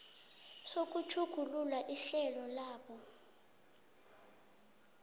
sokutjhugulula ihlelo labo